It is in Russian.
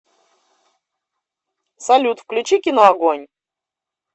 салют включи кино огонь